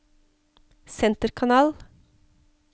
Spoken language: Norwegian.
senterkanal